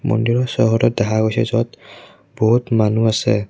মন্দিৰৰ চৌহদত দেখা গৈছে য'ত বহুত মানুহ আছে।